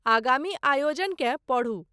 आगामी आयोजन केँ पढू।